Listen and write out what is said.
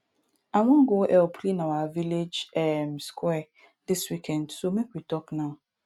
i wan go help clean our village um square dis weekend so make we talk now